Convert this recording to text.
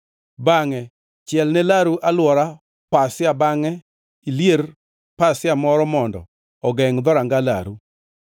Bangʼe chielne laru alwora pasia bangʼe ilier pasia moro mondo ogengʼ dhoranga laru.